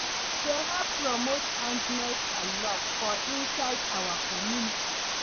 E dey help promote kindness and luv for inside our community